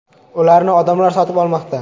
Ularni odamlar sotib olmoqda.